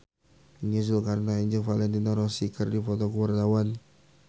Nia Zulkarnaen jeung Valentino Rossi keur dipoto ku wartawan